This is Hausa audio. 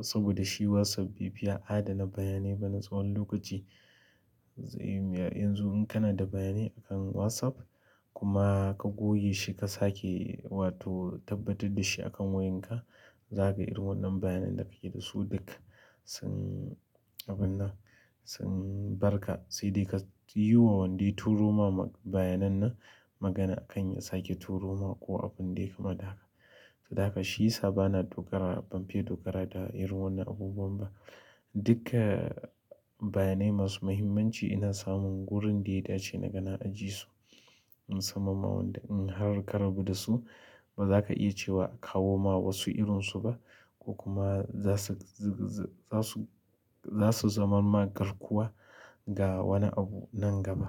saboda shi WhatsApp bai fi adana bayanai bane tsawon lokaci. Zaiyi wuya, yanzu in kana da bayanai a WhatsApp ka gogeshi ka sake wato tabbatar dashi akan wayarka, za kaga duk wannan bayanan da kake dasu duk sun abinnan duk sun barka sai dai ka yiwa wanda ya turo ma bayanan nan magana akan ya sake turo ma ko abun da yayi kama da haka. Dan haka shi sa bana dogara, ban fi dogara da irin wannan abubuwan ba. Duka bayanai masu muhimmanci ina samun wurin da ya dace na gana ajiye su. Musamman ma wanda in har ka rabu da su, ba za ka iya cewa kawo ma wasu irinsu ba ko kuma za su, za su, za su zamma garkuwa ga wani abu nan gaba.